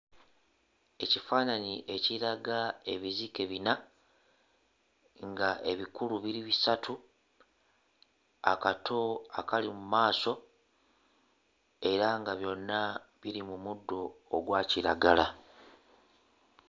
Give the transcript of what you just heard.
Ekifaananyi ekiraga ebizike bina, nga ebikulu biri bisatu akato akali mu maaso era nga byonna biri mu muddo ogwa kiragala.